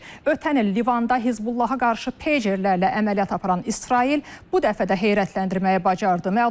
Ötən il Livanda Hizbullah-a qarşı pejerlərlə əməliyyat aparan İsrail bu dəfə də heyrətləndirməyi bacardı.